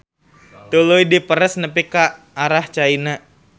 Tuluy diperes nepi ka arah caina.